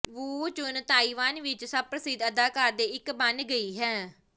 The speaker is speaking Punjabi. ਵੂ ਚੁਨ ਤਾਇਵਾਨ ਵਿੱਚ ਸਭ ਪ੍ਰਸਿੱਧ ਅਦਾਕਾਰ ਦੇ ਇੱਕ ਬਣ ਗਈ ਹੈ